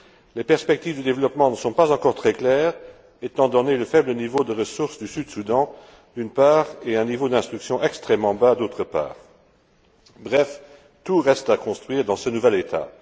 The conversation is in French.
les perspectives de développement ne sont pas encore très claires, étant donné le faible niveau de ressources du Sud Soudan, d'une part, et un niveau d'instruction extrêmement bas, d'autre part. Bref, tout reste à construire dans ce nouvel État.